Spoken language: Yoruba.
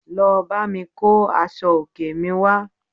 Lọ bámi kó aṣọ òkè mi wá